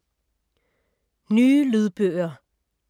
Nye lydbøger